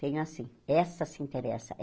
Tem assim, essa se interessa.